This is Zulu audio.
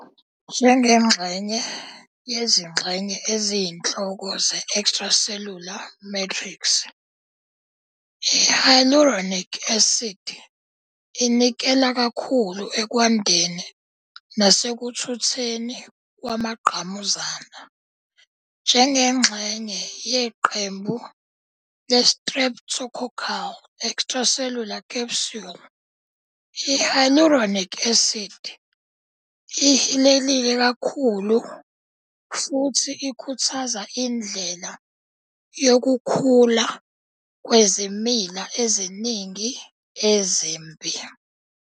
Njengenye yezingxenye eziyinhloko ze-extracellular matrix, i-Hyaluronic acid inikela kakhulu ekwandeni nasekuthutheni kwamangqamuzana. Njengexenye yeqembu le-streptococcal extracellular capsule, i-Hyaluronic acid ihilelekile kakhulu futhi ikhuthaza indlela yokukhula kwezimila eziningi ezimbi.